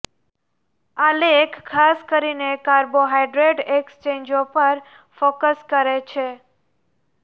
આ લેખ ખાસ કરીને કાર્બોહાઇડ્રેટ એક્સચેન્જો પર ફોકસ કરે છે